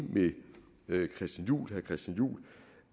med herre christian juhl